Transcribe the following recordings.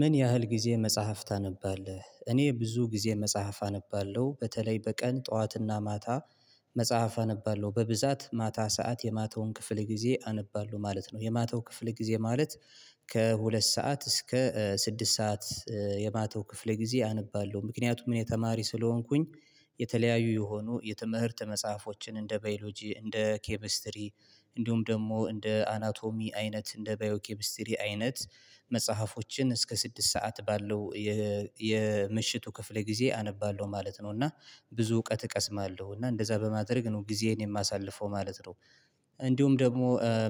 ምን ያህል ጊዜ መጽሐፍ ታነባለህ? እኔ ብዙ ጊዜ መጽሐፍ አነባለሁ በተለይ በቀን ጠዋትና ማታ መጽሐፍ አነባለሁ በብዛት ማታ ሰዓት የማተውን ክፍል ጊዜ አነባለሁ ማለት ነው። የማታው ክፍል ጊዜ ማለት ከሁለት ሰዓት እስከ ስድስት ሰዓት የማታው ክፍለ ጊዜ አነባለሁ። ምክንያቱም እኔ ተማሪ ስለሆንኩኝ የተለያዩ የሆኑ የትምህርት መጽሐፎችን እንደ ባዮሎጂ እንደ ኬሚስትሪ እንዲሁም ደግሞ እንደ አናቶሚ አይነት እንደ ባዮኬሚስትሪ አይነት መጽሐፎችን እስከ ስድስት ሰዓት ባለው የምሽቱ ክፍል ጊዜ አነባለሁ ማለት ነው። እና ብዙ እውቀት እቀስማለሁ። እና እንደዛ በማድረግ ነው ጊዜዬን የማሳልፈው ማለት ነው። እንዲሁም ደግሞ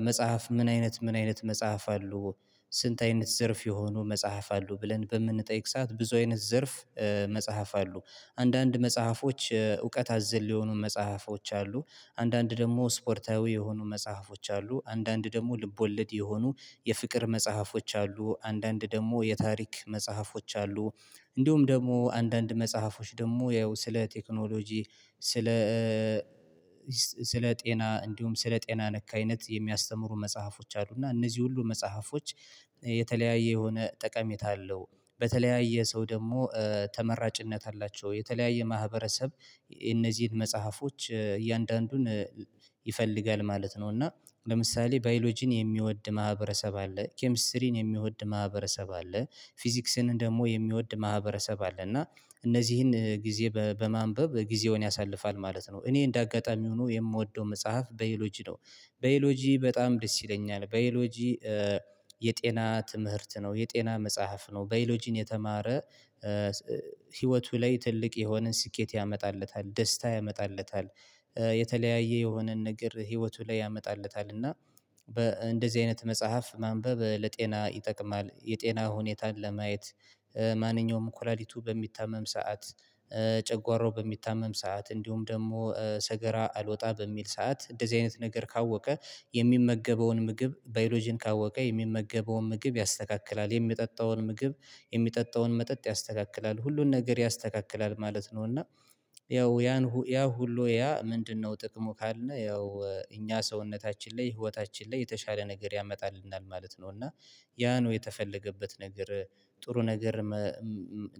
መጽሐፍ ምን አይነት ምን አይነት መጽሐፍ አሉ? ስንት አይነት ዘርፍ የሆኑ መጽሐፍ አሉ? ብለን በምንጠይቅ ሰዓት ብዙ አይነት ዘርፍ መጽሐፍ አሉ። አንዳንድ መጽሐፎች እውቀት አዘል የሆኑ መጽሐፎች አሉ አንዳንድ ደግሞ ስፖርታዊ የሆኑ መጽሐፎች አሉ አንዳንድ ደግሞ ልቦለድ የሆኑ የፍቅር መጽሐፎች አሉ አንዳንድ ደግሞ የታሪክ መጽሐፎች አሉ እንዲሁም ደግሞ አንዳንድ መጽሐፎች ደግሞ ያው ስለ ቴክኖሎጂ ስለ ስለ ጤና እንዲሁም ስለ ጤና ነክ አይነት የሚያስተምሩ መጽሐፎች አሉና እነዚህ ሁሉ መጽሐፎች የተለያየ የሆነ ጠቀሜታ አለው በተለያየ ሰው ደግሞ ተመራጭነት አላቸው። የተለያየ ማህበረሰብ እነዚህን መጽሐፎች እያንዳንዱን ይፈልጋል ማለት ነው። እና ለምሳሌ ባዮሎጂን የሚወድ ማህበረሰብ አለ ኬሚስትሪን የሚወድ ማህበረሰብ አለ ፊዚክስን ደግሞ የሚወድ ማህበረሰብ አለ እና እነዚህን ጊዜ በማንበብ ጊዜውን ያሳልፋል ማለት ነው። እኔ እንደ አጋጣሚ ሆኖ የምወደው መጽሐፍ ባዮሎጂ ነው። ባዮሎጂ በጣም ደስ ይለኛል። ባዮሎጂ የጤና ትምህርት ነው የጤና መጽሐፍ ነው ባዮሎጂን የተማረ ህይወቱ ላይ ትልቅ የሆነ ስኬት ያመጣለታል። ደስታ ያመጣለታል። የተለያየ የሆነን ነገር ህይወቱ ላይ ያመጣለታል። እና በእንደዚህ አይነት መጽሐፍ ማንበብ ለጤና ይጠቅማል የጤና ሁኔታን ለማየት ማንኛውም ኩላሊቱ በሚታመም ሰዓት ጨጓራው በሚታመም ሰዓት እንዲሁም ደግሞ ሰገራ አልወጣ በሚል ሰዓት እንደዚህ አይነት ነገር ካወቀ የሚመገበውን ምግብ ባዮሎጂን ካወቀ የሚመገበውን ምግብ ያስተካክላል። የሚጠጣውን ምግብ የሚጠጣውን መጠጥ ያስተካክላል። ሁሉን ነገር ያስተካክላል ማለት ነው። እና ያው ያን ሁሉ ያ ምንድነው ጥቅሙ ካልን ያው እኛ ሰውነታችን ላይ ህይወታችን ላይ የተሻለ ነገር ያመጣልናል ማለት ነው። እና ያ ነው የተፈለገበት ነገር ጥሩ ነገር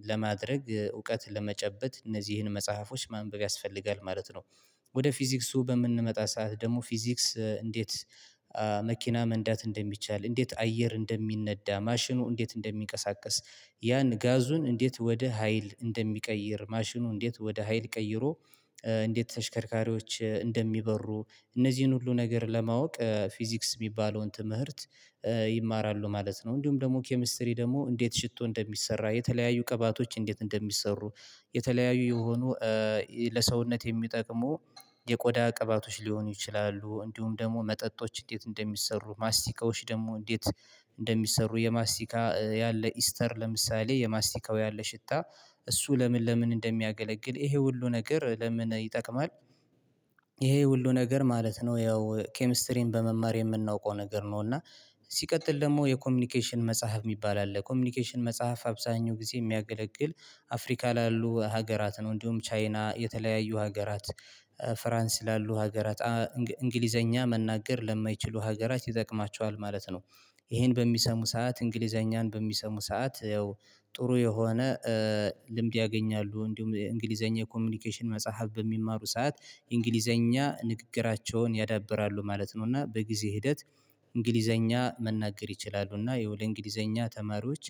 ለማድረግ እውቀት ለመጨበጥ እነዚህን መጽሐፎች ማንበብ ያስፈልጋል ማለት ነው። ወደ ፊዚክሱ በምንመጣ ሰዓት ደግሞ ፊዚክስ እንዴት መኪና መንዳት እንደሚቻል እንዴት አየር እንደሚነዳ ማሽኑ እንዴት እንደሚቀሳቀስ ያን ጋዙን እንዴት ወደ ሀይል እንደሚቀይር ማሽኑ እንዴት ወደ ሀይል ቀይሮ እንዴት ተሽከርካሪዎች እንደሚበሩ እነዚህን ሁሉ ነገር ለማወቅ ፊዚክስ ሚባለውን ትምህርት ይማራሉ ማለት ነው። እንዲሁም ደግሞ ኬሚስትሪ ደግሞ እንዴት ሽቶ እንደሚሰራ የተለያዩ ቅባቶች እንዴት እንደሚሰሩ የተለያዩ የሆኑ ለሰውነት የሚጠቅሙ የቆዳ ቅባቶች ሊሆኑ ይችላሉ። እንዲሁም ደግሞ መጠጦች እንዴት እንደሚሰሩ ማስቲቀዎች ደግሞ እንዴት እንደሚሰሩ የማስቲካ ያለ ኢስተር ለምሳሌ የማስቲካው ያለ ሽታ እሱ ለምን ለምን እንደሚያገለግል ይሄ ሁሉ ነገር ለምን ይጠቅማል ይሄ ሁሉ ነገር ማለት ነው ያው ኬሚስትሪን በመማር የምናውቀው ነገር ነው። እና ሲቀጥል ደግሞ የኮሚኒኬሽን መጽሐፍ ሚባል አለ ኮሚኒኬሽን መጽሐፍ አብዛኛው ጊዜ ሚያገለግል አፍሪካ ላሉ ሀገራት ነው እንዲሁም ቻይና የተለያዩ ሀገራት ፍራንስ ላሉ ሀገራት እንግሊዘኛ መናገር ለማይችሉ ሀገራት ይጠቅማቸዋል ማለት ነው። ይሄን በሚሰሙ ሰዓት እንግሊዘኛን በሚሰሙ ሰዓት ያው ጥሩ የሆነ ልምድ ያገኛሉ እንዲሁም እንግሊዘኛ ኮሚኒኬሽን መጽሐፍ በሚማሩ ሰዓት እንግሊዘኛ ንግግራቸውን ያዳብራሉ ማለት ነው። እና በጊዜ ሂደት እንግሊዘኛ መናገር ይችላሉ እና የውል እንግሊዘኛ ተማሪዎች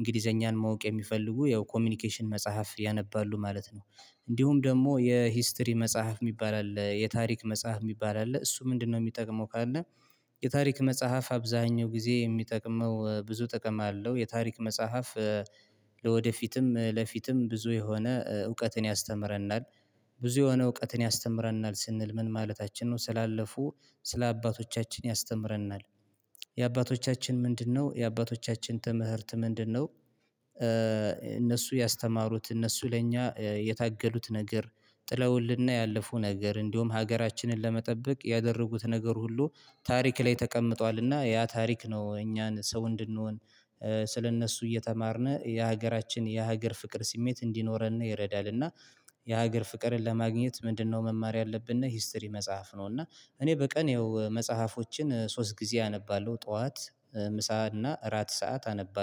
እንግሊዘኛን ማወቅ የሚፈልጉ ያው ኮሚኒኬሽን መጽሐፍ ያነባሉ ማለት ነው። እንዲሁም ደግሞ የሂስትሪ መጽሐፍ ሚባል አለ የታሪክ መጽሐፍ ሚባል አለ። እሱ ምንድነው የሚጠቅመው ካልነ የታሪክ መጽሐፍ አብዛኛው ጊዜ የሚጠቅመው ብዙ ጥቅም አለው የታሪክ መጽሐፍ ለወደፊትም ለፊትም ብዙ የሆነ እውቀትን ያስተምረናል። ብዙ የሆነ እውቀትን ያስተምረናል ስንል ምን ማለታችን ነው ስላለፉ ስለ አባቶቻችን ያስተምረናል። የአባቶቻችን ምንድነው? የአባቶቻችን ትምህርት ምንድነው? እነሱ ያስተማሩት እነሱ ለእኛ የታገሉት ነገር ጥለውልን ያለፉ ነገር እንዲሁም ሀገራችንን ለመጠበቅ ያደረጉት ነገር ሁሉ ታሪክ ላይ ተቀምጧልና ያ ታሪክ ነው እኛን ሰው እንድንሆን ስለእነሱ እየተማርን የሀገራችን የሀገር ፍቅር ስሜት እንዲኖረን ይረዳልና የሀገር ፍቅርን ለማግኘት ምንድነው መማር ያለብን? ሂስትሪ መጽሐፍ ነውና እኔ በቀን ያው መጽሐፎችን ሶስት ጊዜ አነባለሁ ጠዋት ምሳ እና እራት ሰዓት አነባለሁ።